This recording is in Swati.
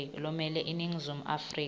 lomele iningizimu afrika